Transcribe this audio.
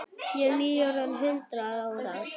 Ég er nýorðin hundrað ára.